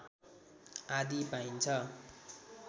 आदि पाइन्छ